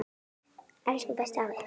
Elsku besti afi.